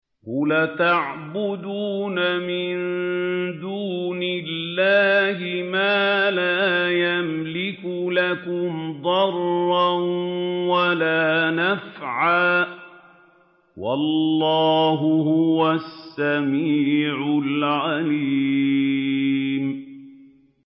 قُلْ أَتَعْبُدُونَ مِن دُونِ اللَّهِ مَا لَا يَمْلِكُ لَكُمْ ضَرًّا وَلَا نَفْعًا ۚ وَاللَّهُ هُوَ السَّمِيعُ الْعَلِيمُ